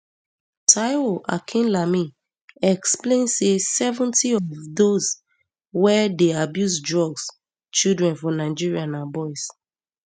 taiwo akinlami explain say seventy of dose wey dey abuse drugs children for nigeria na boys